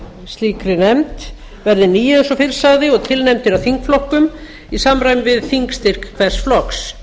slíkri nefnd verði níu eins og fyrr sagði og tilnefndir af þingflokkum í samræmi við þingstyrk hvers flokks